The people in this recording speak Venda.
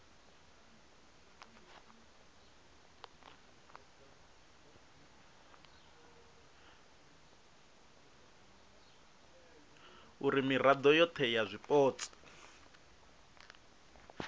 uri mirao yohe ya zwipotso